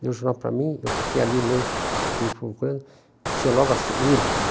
Deu o jornal para mim, eu fiquei ali meio... Fui falando com ele, e tinha logo assim, Urca.